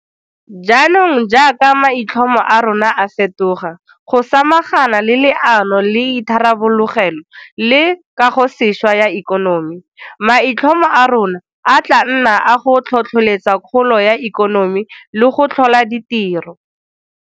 Jaanong jaaka maitlhomo a rona a fetoga go samagana le Leano la Itharabologelo le Kagosešwa ya Ikonomi, maitlhomo a rona e tla nna a go tlhotlheletsa kgolo ya ikonomi le go tlhola ditiro.